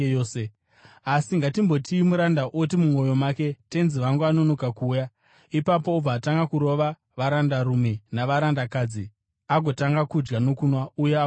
Asi ngatimboti muranda oti mumwoyo make, ‘Tenzi wangu anonoka kuuya,’ ipapo obva atanga kurova varandarume navarandakadzi, agotanga kudya nokunwa uye agodhakwa.